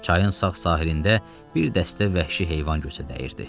Çayın sağ sahilində bir dəstə vəhşi heyvan gözə dəyirdi.